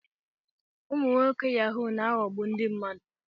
Ụmụ nwoke Yahu na-aghọgbu ndị mmadụ.